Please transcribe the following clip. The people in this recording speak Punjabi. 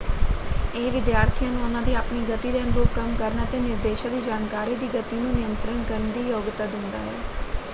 ਇਹ ਵਿਦਿਆਰਥੀਆਂ ਨੂੰ ਉਹਨਾਂ ਦੀ ਆਪਣੀ ਗਤੀ ਦੇ ਅਨੁਰੂਪ ਕੰਮ ਕਰਨ ਅਤੇ ਨਿਰਦੇਸ਼ਾਂ ਦੀ ਜਾਣਕਾਰੀ ਦੀ ਗਤੀ ਨੂੰ ਨਿਯੰਤਰਣ ਕਰਨ ਦੀ ਯੋਗਤਾ ਦਿੰਦਾ ਹੈ।